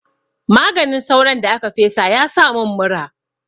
Maganin sauron da aka fesa ya sa mun mura.